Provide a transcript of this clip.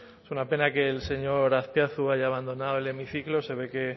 es una pena que el señor azpiazu haya abandonado el hemiciclo se ve que